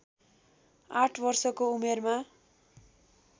आठ वर्षको उमेरमा